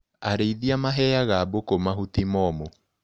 Arĩithia maheaga mbũkũ mahuti momũ.